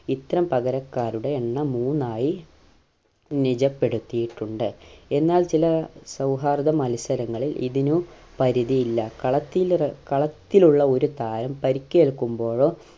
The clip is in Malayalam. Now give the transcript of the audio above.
ഇത്തരം പകരക്കാരുടെ എണ്ണം മൂന്നായി നിജപ്പെടുത്തിയിട്ടുണ്ട് എന്നാൽ ചില സൗഹാർദ മത്സരങ്ങളിൽ ഇതിനു പരിധിയില്ല കളത്തിൽ ഇറ കളത്തിലുള്ള ഒരു താരം പരിക്കേൽക്കുമ്പോഴോ